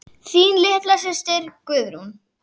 Þín litla systir Guðrún.